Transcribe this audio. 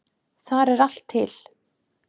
Þar er allt til.